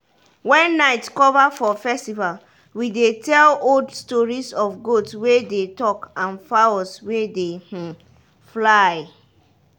when night cover for festival we dey tell old stories of goat wey dey talk and fowls wey dey um fly.